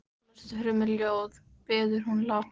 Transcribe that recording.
Lestu fyrir mig ljóð, biður hún lágt.